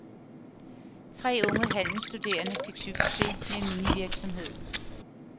Tre unge handelsstuderende fik succes med minivirksomhed.